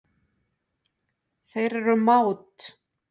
Þeir eru mát.